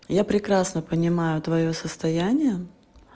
я прекрасно понимаю твоё состояние